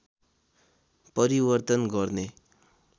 परिवर्तन गर्ने